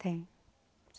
Tem.